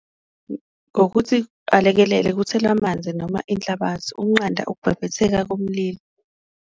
Ngokuthi alekelele kuthelwe amanzi noma inhlabathi ukunqanda ukubhebhetheka komlilo.